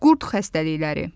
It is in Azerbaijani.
Qurd xəstəlikləri.